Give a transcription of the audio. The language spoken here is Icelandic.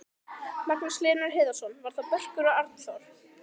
Magnús Hlynur Hreiðarsson: Var það Börkur og Annþór?